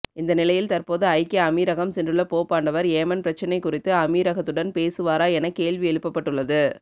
இந்தநிலையில் தற்போது ஐக்கிய அமீரகம் சென்றுள்ள போப்பாண்டவர் ஏமன் பிரச்னை குறித்து அமீரகத்துடன் பேசுவாரா என கேள்வி எழுப்பப்பட்டள்ளது